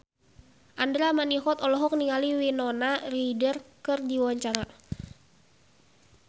Andra Manihot olohok ningali Winona Ryder keur diwawancara